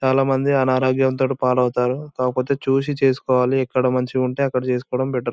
చాల మంది అనారోగ్యం తోని పాడవుతారు కాకపోతే చూసి చేసుకోవాలి ఎక్కడ మంచిగుంటే అక్కడ చేసుకోటం బెటర్